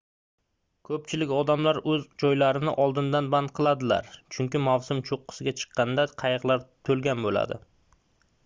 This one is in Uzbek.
ko'pchilik odamlar o'z joylarini oldindan band qiladilar chunki mavsum cho'qqisiga chiqqanda qayiqlar to'lgan bo'ladi